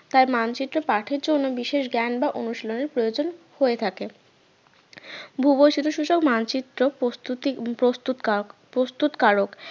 তাই মানচিত্র পাঠের জন্য বিশেষ জ্ঞান বা অনুশীলনের প্রয়োজন হয়ে থাকে ভূবৈচিত্রসূচক মানচিত্র প্রস্তুতি প্রস্তুত কারক প্রস্তুত কারক